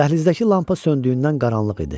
Dəhlizdəki lampa söndüyündən qaranlıq idi.